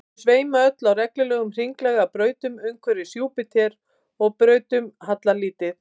þau sveima öll á reglulegum hringlaga brautum umhverfis júpíter og brautunum hallar lítið